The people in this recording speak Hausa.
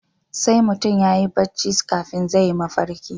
Sai mutum yayi barci kafin zai yi mafalki